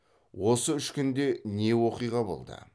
осы үш күнде не оқиға болды